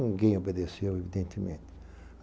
Ninguém obedeceu, evidentemente.